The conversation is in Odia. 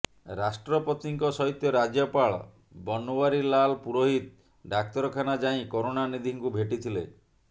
ରାଷ୍ଟ୍ରପତିଙ୍କ ସହିତ ରାଜ୍ୟପାଳ ବନୱରିଲାଲ ପୁରୋହିତ ଡାକ୍ତରଖାନା ଯାଇ କରୁଣାନିଧିଙ୍କୁ ଭେଟିଥିଲେ